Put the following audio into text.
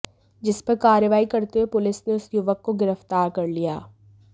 जिस पर कार्रवाई करते हुए पुलिस ने उस युवक को गिरफ्तार कर लिया है